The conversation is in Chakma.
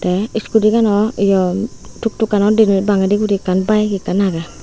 te scooty ganot ye tuk tukkanot dibe bangendi guri ekkan bike ekkan age.